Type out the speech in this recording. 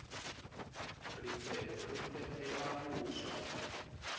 rifetho ri fethela vuswa